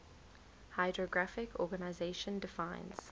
hydrographic organization defines